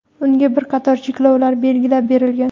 unga bir qator cheklovlar belgilab berilgan.